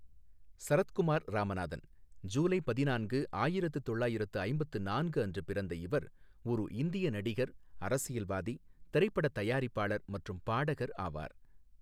சரத்குமார் ராமநாதன், ஜூலை பதினான்கு, ஆயிரத்து தொள்ளாயிரத்து ஐம்பத்து நான்கு அன்று பிறந்த இவர் ஒரு இந்திய நடிகர், அரசியல்வாதி, திரைப்பட தயாரிப்பாளர் மற்றும் பாடகர் ஆவார்.